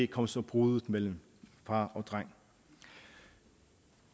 kom så bruddet mellem far og dreng